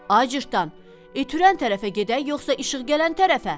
Ay cırtdan, it hürən tərəfə gedək yoxsa işıq gələn tərəfə?